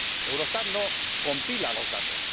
Eurostat no compila los datos.